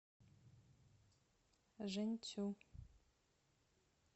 жэньцю